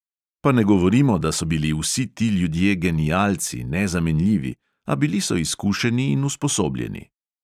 Pa ne govorimo, da so bili vsi ti ljudje genialci, nezamenljivi, a bili so izkušeni in usposobljeni.